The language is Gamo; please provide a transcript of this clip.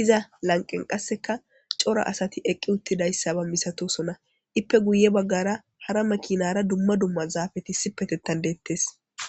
iza lanqen qasseka cora asati eqqi uttidayssa ba misatosonna ippe guye baggara hara makinara dumma dumma zaafeti si petettan deettes